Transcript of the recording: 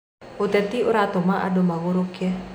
Ũteti ũratũma andũ magũrũke.